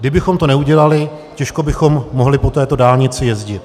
Kdybychom to neudělali, těžko bychom mohli po této dálnici jezdit.